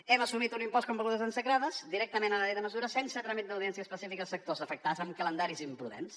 hem assumit un impost com begudes ensucrades directament a la llei de mesures sense tràmit d’audiència específica als sectors afectats amb calendaris imprudents